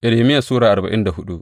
Irmiya Sura arba'in da hudu